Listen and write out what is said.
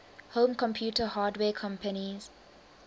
home computer hardware companies